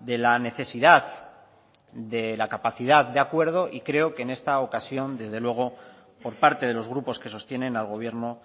de la necesidad de la capacidad de acuerdo y creo que en esta ocasión desde luego por parte de los grupos que sostienen al gobierno